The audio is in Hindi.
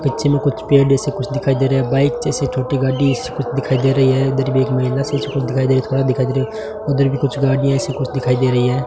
पीछे में कुछ पेड़ जैसे कुछ दिखाई दे रहा है बाइक जैसी छोटी गाड़ी दिखाई दे रही है इधर भी एक महिला दिखाई दे रही दिखाई दे रही है उधर भी कुछ गाड़ियां ऐसे कुछ दिखाई दे रही हैं।